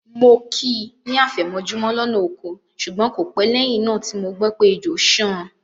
Mo kí i ní àfẹ̀mọ́jú lọ́nà oko ṣùgbọ́n kò pẹ́ lẹ́yìn náà tí mo gbọ́ pé ejò ṣán an.